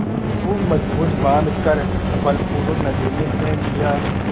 खूब मजबूत बॉँध कर बलपूर्वक नदी में फेंक दिया